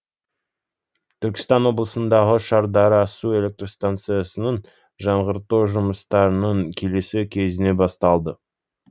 түркістан облысындағы шардара су электр станциясын жаңғырту жұмыстарының келесі кезеңі басталды